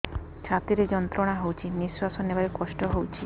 ଛାତି ରେ ଯନ୍ତ୍ରଣା ହଉଛି ନିଶ୍ୱାସ ନେବାରେ କଷ୍ଟ ହଉଛି